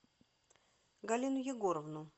галину егоровну